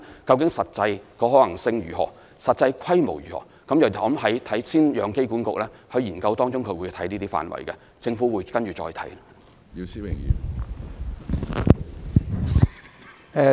但是實際可行性及實際規模如何，機管局會在研究中探討這些範圍，之後政府會再作研究。